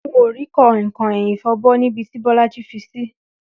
N ò rí kò̩inkò̩in ìfo̩bó̩ níbi tí Bó̩lájí fi sí